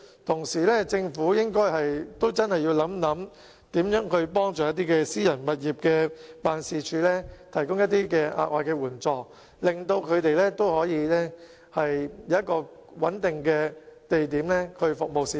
政府同時應該認真考慮怎樣幫助租用私人物業作辦事處的區議員，提供額外的援助，令他們可以有穩定的地點服務市民。